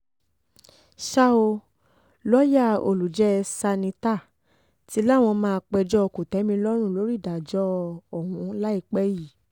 ṣá ò lọ́ọ̀yà olùjẹ́ sanità ti láwọn máa péjọ kò-tẹ̀-mí-lọ́rùn lórí ìdájọ́ ọ̀hún láìpẹ́ yìí